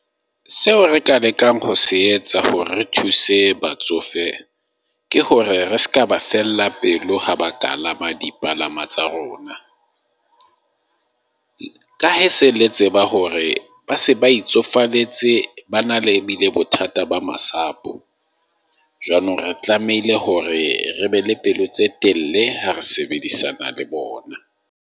Seo re ka lekang ho se etsa hore re thuse batsofe ke hore re seka ba fella pelo, ha ba ka le ama di palama tsa rona. Ka hee se le tseba hore ba se ba itsofalletse, ba na le bothata ba masapo. Jwanong, re tlamehile hore re be le pelo tse telle ha re sebedisana le bona.